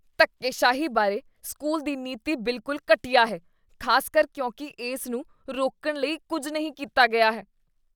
ਧੱਕੇਸ਼ਾਹੀ ਬਾਰੇ ਸਕੂਲ ਦੀ ਨੀਤੀ ਬਿਲਕੁਲ ਘਟੀਆ ਹੈ, ਖ਼ਾਸਕਰ ਕਿਉਂਕਿ ਇਸ ਨੂੰ ਰੋਕਣ ਲਈ ਕੁੱਝ ਨਹੀਂ ਕੀਤਾ ਗਿਆ ਹੈ।